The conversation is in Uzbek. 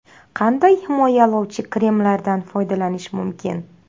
Qanday himoyalovchi kremlardan foydalanish mumkin?